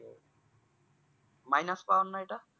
minus power না ঐটা